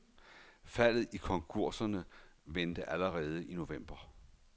Faldet i konkurserne vendte allerede i november.